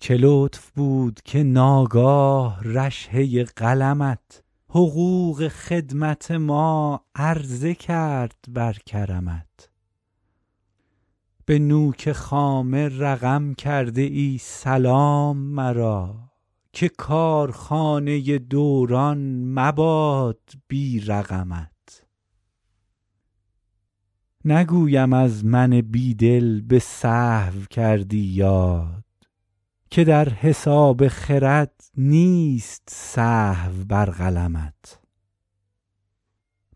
چه لطف بود که ناگاه رشحه قلمت حقوق خدمت ما عرضه کرد بر کرمت به نوک خامه رقم کرده ای سلام مرا که کارخانه دوران مباد بی رقمت نگویم از من بی دل به سهو کردی یاد که در حساب خرد نیست سهو بر قلمت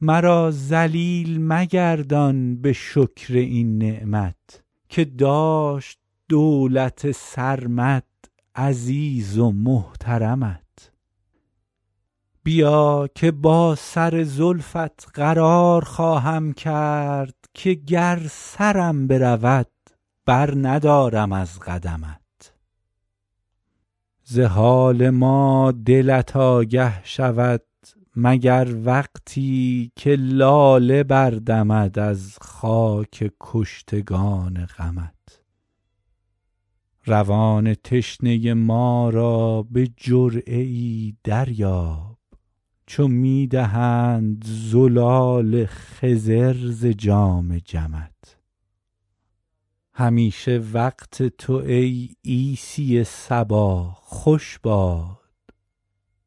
مرا ذلیل مگردان به شکر این نعمت که داشت دولت سرمد عزیز و محترمت بیا که با سر زلفت قرار خواهم کرد که گر سرم برود برندارم از قدمت ز حال ما دلت آگه شود مگر وقتی که لاله بردمد از خاک کشتگان غمت روان تشنه ما را به جرعه ای دریاب چو می دهند زلال خضر ز جام جمت همیشه وقت تو ای عیسی صبا خوش باد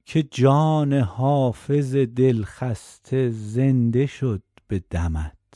که جان حافظ دلخسته زنده شد به دمت